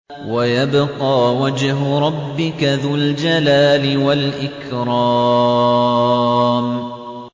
وَيَبْقَىٰ وَجْهُ رَبِّكَ ذُو الْجَلَالِ وَالْإِكْرَامِ